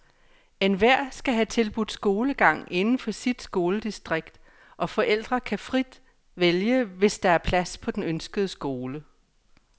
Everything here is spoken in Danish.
Enhver skal have tilbudt skolegang inden for sit skoledistrikt, og forældre kan vælge frit, hvis der er plads på den ønskede skole.